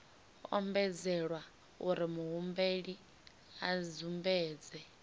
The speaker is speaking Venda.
ombedzelwa uri muhumbeli a sumbedze